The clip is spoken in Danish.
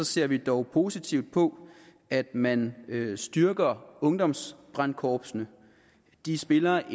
ser vi dog positivt på at man styrker ungdomsbrandkorpsene de spiller